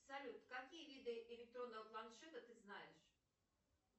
салют какие виды электронного планшета ты знаешь